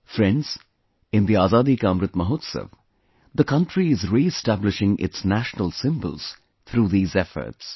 Friends, in the Azadi Ka Amrit Mahotsav, the country is reestablishing its national symbols through these efforts